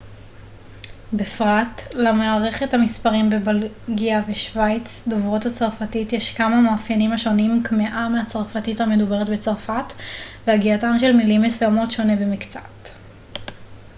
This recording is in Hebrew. בפרט למערכת המספרים בבלגיה ובשווייץ דוברות הצרפתית יש כמה מאפיינים השונים קמעה מהצרפתית המדוברת בצרפת והגייתן של מילים מסוימות שונה במקצת